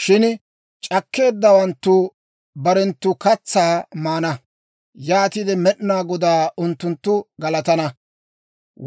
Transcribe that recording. Shin c'akkeeddawanttu barenttu katsaa maana; yaatiide Med'inaa Godaa unttunttu galatana;